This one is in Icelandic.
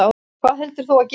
Hvað heldurðu að gerist?